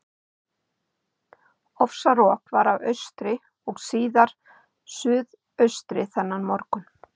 Ofsarok var af austri og síðar suðaustri þennan morgun.